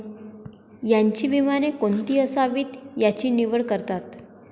यांची विमाने कोणती असावीत याची निवड करतात.